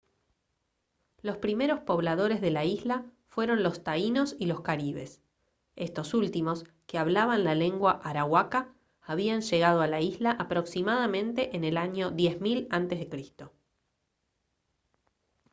los primeros pobladores de la isla fueron los taínos y los caribes estos últimos que hablaban la lengua arahuaca habían llegado a la isla aproximadamente en el año 10 000 a c